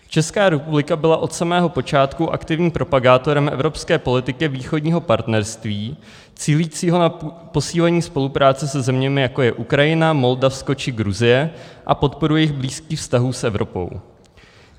Česká republika byla od samého počátku aktivním propagátorem evropské politiky Východního partnerství, cílícího na posílení spolupráce se zeměmi, jako je Ukrajina, Moldavsko či Gruzie, a podporu jejich blízkých vztahů s Evropou.